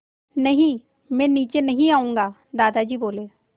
नहीं मैं नीचे नहीं आऊँगा दादाजी बोले